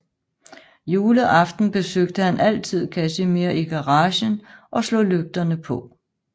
Juleaften besøgte han altid Casimir i garagen og slog lygterne på